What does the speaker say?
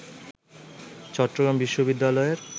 চট্টগ্রাম বিশ্ববিদ্যালয়ের